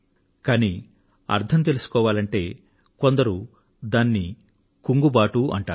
కానీ అర్థం తెలుసుకోవాలంటే కొందరు దాన్ని కుంగుబాటు అంటారు